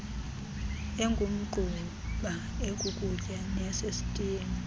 engumgquba ekukutya neyasesitiyeni